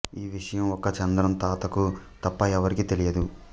ఈ విషయం ఒక్క చంద్రం తాతకు తప్ప ఎవరికీ తెలియదు